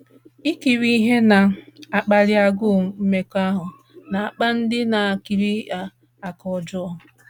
Ikiri ihe na - akpali agụụ mmekọahụ na - akpa ndị na - ekiri ya aka ọjọọ.